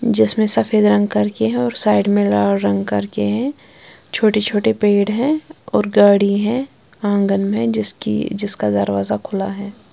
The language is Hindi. जिसमें सफेद रंग करके और साइड में लाल रंग करके है छोटे छोटे पेड़ है और गाड़ी है आंगन में जिसकी जिसका दरवाजा खुला है।